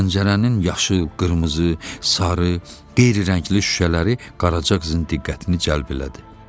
Pəncərənin yaşıl, qırmızı, sarı, qeyri-rəngli şüşələri Qaraca qızın diqqətini cəlb elədi.